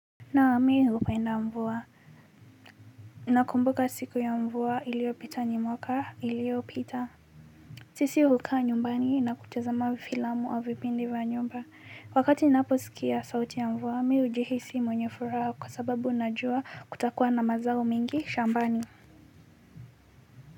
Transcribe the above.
Naam mimi hupenda mvua. Nakumbuka siku ya mvua iliyopita ni mwaka iliyopita. Sisi hukaa nyumbani na kutazama filamu au vipindi vya nyumba. Wakati ninaposikia sauti ya mvua, mi hujihisi mwenye furaha kwa sababu ninajua kutakuwa na mazao mengi shambani.